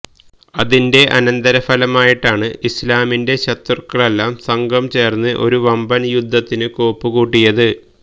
അതിന്റെ അനന്തര ഫലമായിട്ടാണ് ഇസ്ലാമിന്റെ ശത്രുക്കളെല്ലാം സംഘം ചേര്ന്ന് ഒരു വമ്പന് യുദ്ധത്തിന് കോപ്പു കൂട്ടിയത്